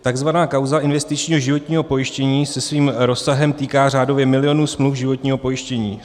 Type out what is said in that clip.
Takzvaná kauza investičního životního pojištění se svým rozsahem týká řádově milionů smluv životního pojištění.